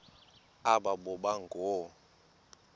aba boba ngoo